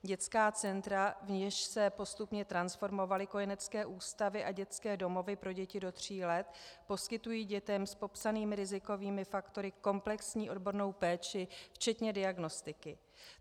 Dětská centra, v něž se postupně transformovaly kojenecké ústavy a dětské domovy pro děti do tří let, poskytují dětem s popsanými rizikovými faktory komplexní odbornou péči včetně diagnostiky.